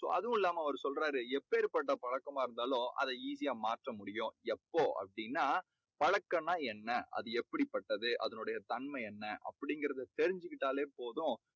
so, அதுவும் இல்லாம அவர் சொல்றாரு, எப்பேற்பட்ட பழக்கமா இருந்தாலும், அதை easy யா மாற்ற முடியும். எப்போ அப்படீன்னா, பழக்கம்னா என்ன? அது எப்படிப்பட்டது? அதனுடைய தன்மை என்ன? அப்படீங்கறத தெரிஞ்சுகிட்டாலே போதும்.